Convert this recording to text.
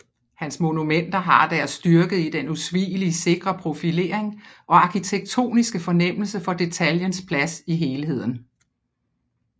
Hans monumenter har deres styrke i den usvigelig sikre profilering og arkitektoniske fornemmelse for detaljens plads i helheden